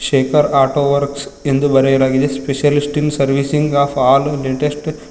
shaker auto works ಎಂದು ಬರೆಯಲಾಗಿದೆ specialist in servicing of all latest --